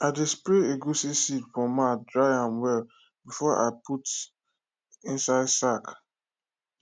i dey spread egusi seed for mat dry am well before i put inside sack